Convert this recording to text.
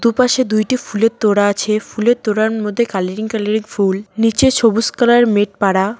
দুপাশে দুইটি ফুলের তোড়া আছে ফুলের তোড়ার মধ্যে কালারিং কালারিং ফুল নীচে সবুজ কালার -এর মেট পাড়া ।